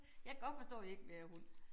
Jeg kan godt forstå I ikke vil have hund